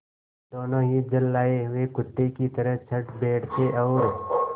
दोनों ही झल्लाये हुए कुत्ते की तरह चढ़ बैठते और